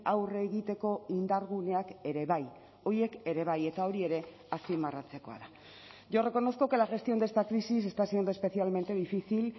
aurre egiteko indarguneak ere bai horiek ere bai eta hori ere azpimarratzekoa da yo reconozco que la gestión de esta crisis está siendo especialmente difícil